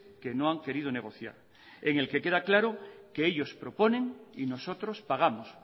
que no han querido negociar en el que queda claro que ellos proponen y nosotros pagamos